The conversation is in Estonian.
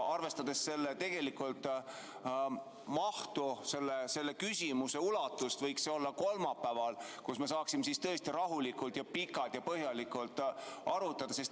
Arvestades selle mahtu, selle küsimuse ulatust, võiks see olla kolmapäeval, et me saaksime siis rahulikult ja pikalt ja põhjalikult arutada.